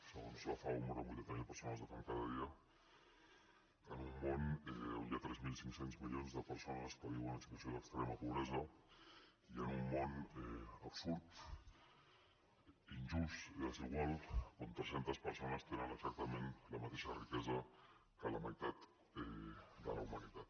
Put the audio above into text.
segons la fao moren vuitanta mil persones de fam cada dia en un món on hi ha tres mil cinc cents milions de persones que viuen en situació d’extrema pobresa i en un món absurd injust i desigual on tres centes persones tenen exactament la mateixa riquesa que la meitat de la humanitat